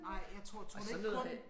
Nej jeg tror tror du ikke kun